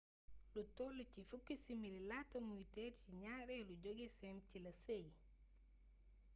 lu toll ci fukki simili laata muy teer ci ñaareelu jogeseem ci la seey